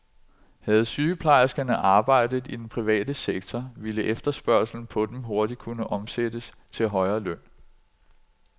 Havde sygeplejerskerne arbejdet i den private sektor, ville efterspørgslen på dem hurtigt kunne omsættes til højere løn.